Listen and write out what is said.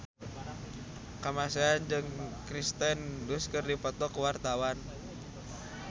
Kamasean jeung Kirsten Dunst keur dipoto ku wartawan